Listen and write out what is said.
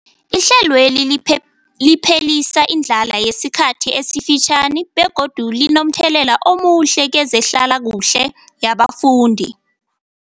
Ihlelweli liphelisa indlala yesikhathi esifitjhani begodu linomthelela omuhle kezehlalakuhle yabafundi.